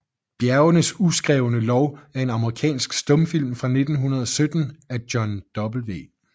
Bjergenes uskrevne Lov er en amerikansk stumfilm fra 1917 af John W